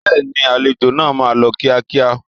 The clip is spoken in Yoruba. Bẹ́ẹ̀ni, àlejò náà máa lọ kíákíá.